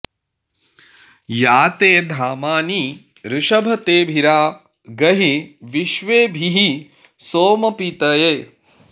या ते॒ धामा॑नि वृषभ॒ तेभि॒रा ग॑हि॒ विश्वे॑भिः॒ सोम॑पीतये